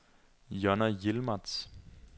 Jonna Yilmaz